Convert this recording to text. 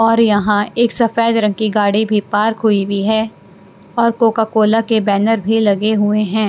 और यहाँ एक सफेद रंग की गाड़ी भी पार्क हुई हुई है और कोका-कोला के बैनर भी लगे हुए हैं।